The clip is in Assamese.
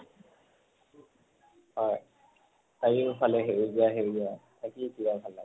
হয়, চাৰিও ফালে সেউজীয়া সেউজীয়া কিমান ভাল লাগে।